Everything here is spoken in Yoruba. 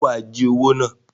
Ṣe wá jí owo náà?